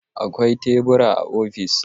Akwai tebura a ofis